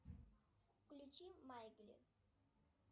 включи майгли